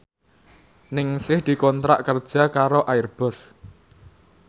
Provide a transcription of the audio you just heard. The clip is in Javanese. Ningsih dikontrak kerja karo Airbus